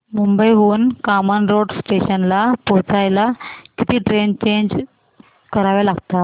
मुंबई हून कामन रोड स्टेशनला पोहचायला किती ट्रेन चेंज कराव्या लागतात